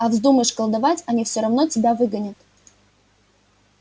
а вздумаешь колдовать они всё равно тебя выгонят